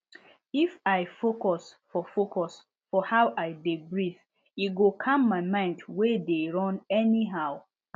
if i focus for focus for how i dey breathe e go calm my mind wey dey run anyhow